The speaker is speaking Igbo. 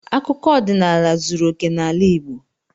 Akụkọ ọdịnala zuru okè n'ala Igbo.